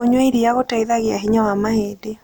Kũnyua ĩrĩa gũteĩthagĩa hinya wa mahĩndĩ